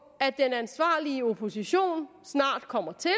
at den ansvarlige opposition snart kommer til